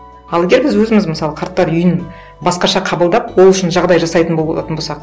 ал егер біз өзіміз мысалы қарттар үйін басқаша қабылдап ол үшін жағдай жасайтын болатын болсақ